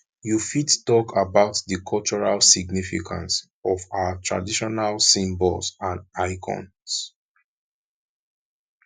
you fit talk about di cultural significance of our traditional symbols and icons